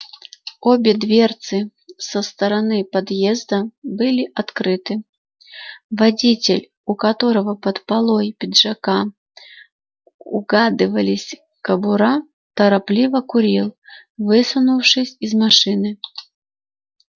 обе дверцы со стороны подъезда были открыты водитель у которого под полой пиджака угадывались кобура торопливо курил высунувшись из машины